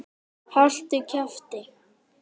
Haltu kjafti!